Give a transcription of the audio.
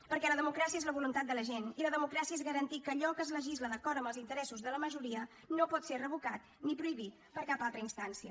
perquè la democràcia és la voluntat de la gent i la democràcia és garantir que allò que es legisla d’acord amb els interessos de la majoria no pot ser revocat ni prohibit per cap altra instància